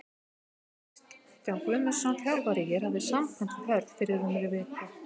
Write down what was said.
Kristján Guðmundsson þjálfari ÍR hafði samband við Hörð fyrir rúmri viku.